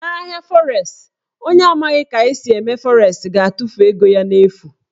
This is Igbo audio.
Na ahịa fọres, onye na amaghị ka esi eme fọres ga-atụfu ego ya n'efu.